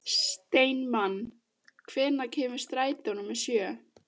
Steinmann, hvenær kemur strætó númer sjö?